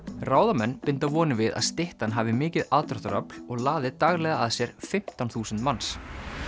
ráðamenn binda vonir við að styttan hafi mikið aðdráttarafl og laði daglega að sér fimmtán þúsund manns